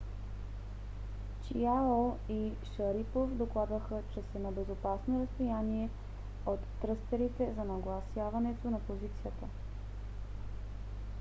чиао и шарипов докладваха че са на безопасно разстояние от тръстерите за нагласяване на позицията